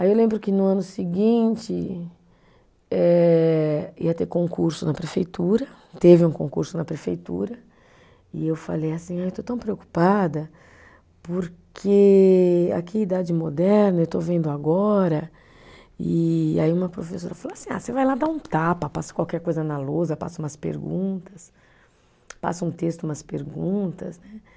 Aí eu lembro que no ano seguinte eh, ia ter concurso na prefeitura, teve um concurso na prefeitura, e eu falei assim, ah eu estou tão preocupada, porque aqui é idade moderna, eu estou vendo agora, e aí uma professora falou assim, ah, você vai lá dar um tapa, passa qualquer coisa na lousa, passa umas perguntas, passa um texto, umas perguntas, né?